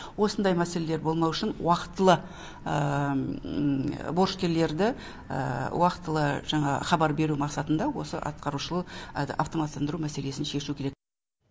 осындай мәселелер болмау үшін уақтылы борышкерлерді уақтылы жаңағы хабар беру мақсатында осы атқарушыл автоматтандыру мәселесін шешу керек